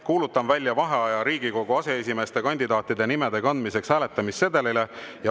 Kuulutan välja vaheaja Riigikogu aseesimeeste kandidaatide nimede kandmiseks hääletamissedelile.